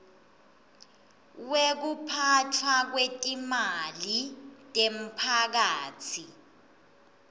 wekuphatfwa kwetimali temphakatsi